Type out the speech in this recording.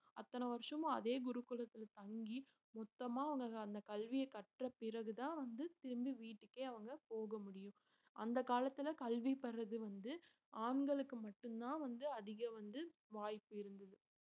அத்தனை வருஷமும் அதே குருகுலத்துல தங்கி மொத்தமா உனக்கு அந்த கல்வியை கற்ற பிறகுதான் வந்து திரும்பி வீட்டுக்கே அவங்க போக முடியும் அந்த காலத்துல கல்வி பெறறது வந்து ஆண்களுக்கு மட்டும்தான் வந்து அதிக வந்து வாய்ப்பு இருந்தது